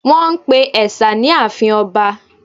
Wọ́n pe ẹ̀sà ní àfin ọba